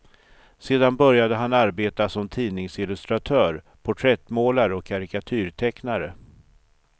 Sedan började han arbeta som tidningsillustratör, porträttmålare och karikatyrtecknare.